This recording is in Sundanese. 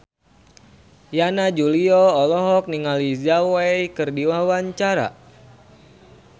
Yana Julio olohok ningali Zhao Wei keur diwawancara